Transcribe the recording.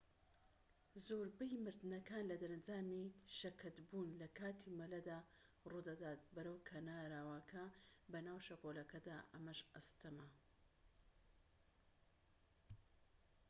زۆربەی مردنەکان لە دەرەنجامی شەکەتبوون لە کاتی مەلەدا ڕوودەدات بەرەو کەناراوەکە بەناو شەپۆلەکەدا ئەمەش ئاستەمە